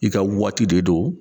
I ka waati de don